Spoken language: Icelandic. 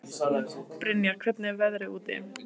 Brynjar, hvernig er veðrið úti?